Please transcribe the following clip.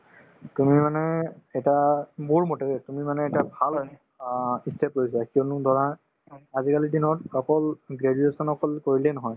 তুমি মানে এটা মোৰমতে দেই তুমি মানে এটা ভাল অ ই step লৈছা কিয়নো ধৰা আজিকালিৰ দিনত অকল graduation অকল কৰিলেই নহয়